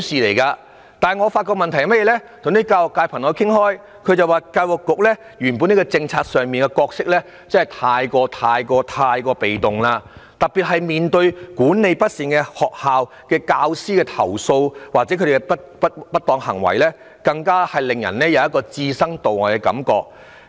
不過，我與教育界的朋友討論時發現，教育局在校本政策上的角色過於被動，特別是面對管理不善的學校、教師投訴或不當行為時，更令人有教育局置身度外的感覺。